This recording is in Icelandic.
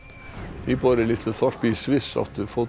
íbúar í litlu þorpi í Sviss áttu fótum